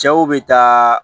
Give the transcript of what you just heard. Cɛw bɛ taa